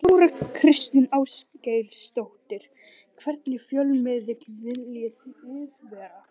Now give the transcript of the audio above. Þóra Kristín Ásgeirsdóttir: Hvernig fjölmiðill viljið þið vera?